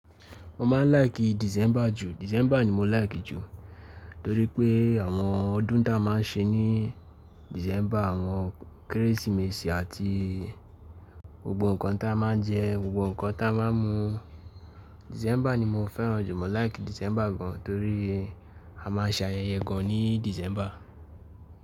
Mo máa ń like December ju. December ni mo like ju torí pé àwọn ọdún táa máa ń ṣe ní December, àwọn Kérésìmesì àti gbogbo nǹkan táa máa ń jẹ, gbogbo nǹkan táa máa ń mu. December ni mo fẹ́ràn jù, mo like December gan torí a máa ń ṣe ayẹyẹ gan ní December.